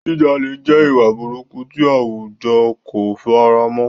Jíjalè jẹ́ ìwà burúkú tí àwùjọ kò fara mọ́.